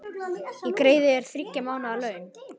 Ég greiði þér þriggja mánaða laun.